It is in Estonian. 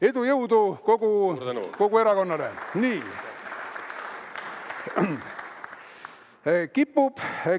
Edu ja jõudu kogu erakonnale!